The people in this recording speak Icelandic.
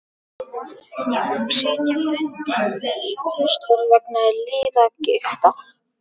Ég má sitja bundinn við hjólastól vegna liðagiktar.